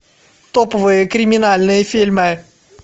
топовые криминальные фильмы